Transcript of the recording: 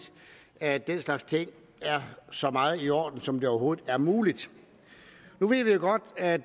at den slags ting er så meget i orden som det overhovedet er muligt nu ved vi jo godt at